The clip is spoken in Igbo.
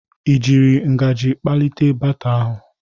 Ị jiri ngaji kpalite baata ahụ?